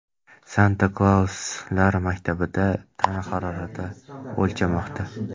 Santa-Klauslar maktabida tana harorati o‘lchanmoqda.